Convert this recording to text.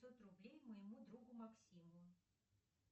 пятьсот рублей моему другу максиму